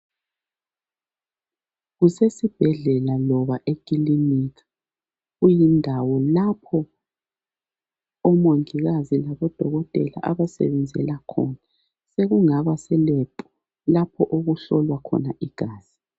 Kusesibhedlela loba ekilinika kuyindawo lapho omongikazi labodokotela abasebenzela khona. Sekungaba se lab lapho okuhlolwa khona igazi.